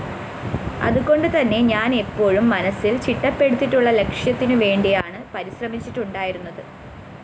അതുകൊണ്ടുതന്നെ ഞാന്‍ എപ്പോഴും മനസ്സില്‍ ചിട്ടപ്പെടുത്തിയിട്ടുള്ള ലക്ഷ്യത്തിനുവേണ്ടിയാണ് പരിശ്രമിച്ചിട്ടുണ്ടായിരുന്നത്